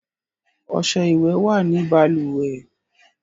Ọṣẹ ìwẹ̀ wà ní balùwẹ̀